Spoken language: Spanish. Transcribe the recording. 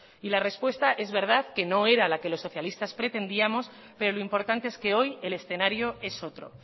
y la respuesta es verdad que no era la que los socialistas pretendíamos pero lo importante es que hoy el escenario es otro